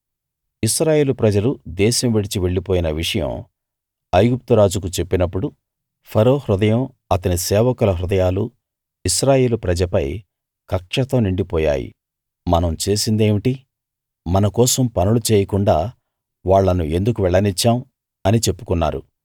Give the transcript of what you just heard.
ఇశ్రాయేలు ప్రజలు దేశం విడిచి వెళ్ళిపోయిన విషయం ఐగుప్తు రాజుకు చెప్పినప్పుడు ఫరో హృదయం అతని సేవకుల హృదయాలు ఇశ్రాయేలు ప్రజపై కక్షతో నిండి పోయాయి మనం చేసిందేమిటి మన కోసం పనులు చేయకుండా వాళ్ళను ఎందుకు వెళ్ళనిచ్చాం అని చెప్పుకున్నారు